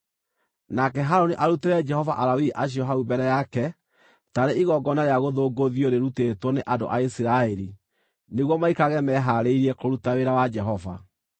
Nake Harũni arutĩre Jehova Alawii acio hau mbere yake taarĩ igongona rĩa gũthũngũthio rĩrutĩtwo nĩ andũ a Isiraeli, nĩguo maikarage mehaarĩirie kũruta wĩra wa Jehova.